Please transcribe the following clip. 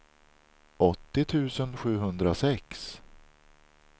åttio tusen sjuhundrasex